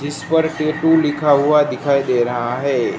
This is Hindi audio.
जिस पर टेटू लिखा हुआ दिखाई दे रहा है।